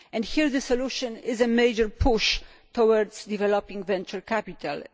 Here the solution is a major push towards developing venture capital.